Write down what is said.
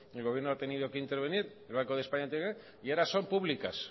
el gobierno ha tenido que intervenir el bando de españa ha tenido que intervenir y ahora son públicas